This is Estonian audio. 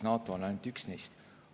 NATO on ainult üks neist.